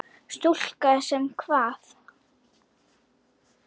Stúlka sem kvað.